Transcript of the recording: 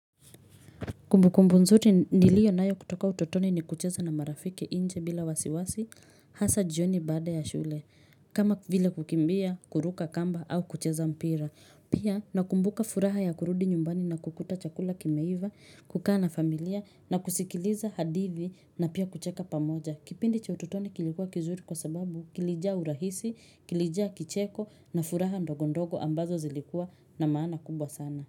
Kumbukumbu nzote nilio nayo kutoka utotoni ni kucheza na marafiki nje bila wasiwasi hasa jioni baada ya shule kama vile kukimbia kuruka kamba au kucheza mpira pia na kumbuka furaha ya kurudi nyumbani na kukuta chakula kimeiva kukana familia na kusikiliza hadithi na pia kucheka pamoja kipindi cha utotoni kilikuwa kizuri kwa sababu kilijaa urahisi kilijaa kicheko na furaha ndogondogo ambazo zilikuwa na maana kubwa sana.